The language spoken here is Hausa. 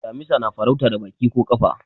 damisa na farauta da Baki ko kafa